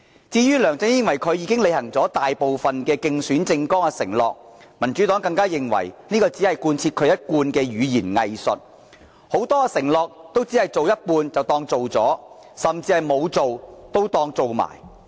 至於梁振英以為自己已履行大部分競選政綱的承諾，民主黨也認為這只是一貫的語言"偽術"，他的很多承諾都只是做一半便當作完成了，甚至沒有做的也當作做了。